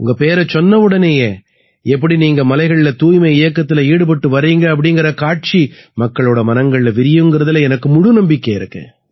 உங்க பேரைச் சொன்னவுடனேயே எப்படி நீங்க மலைகள்ல தூய்மை இயக்கத்தில ஈடுபட்டு வர்றீங்க அப்படீங்கற காட்சி மக்களோட மனங்கள்ல விரியுங்கறதுல எனக்கு முழு நம்பிக்கை இருக்கு